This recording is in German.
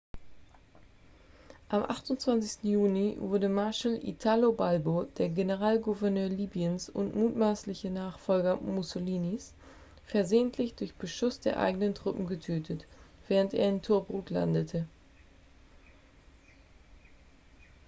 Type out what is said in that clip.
am 28. juni wurde marshall italo balbo der generalgouverneur libyens und mutmaßliche nachfolger mussolinis versehentlich durch beschuss der eigenen truppen getötet während er in tobruk landete